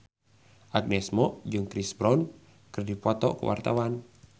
Agnes Mo jeung Chris Brown keur dipoto ku wartawan